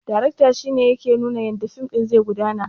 Darakta shine yake nuna yadda fim ɗin zai gudana